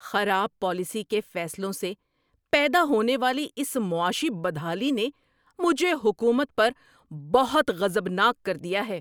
خراب پالیسی کے فیصلوں سے پیدا ہونے والی اس معاشی بدحالی نے مجھے حکومت پر بہت غضبناک کر دیا ہے۔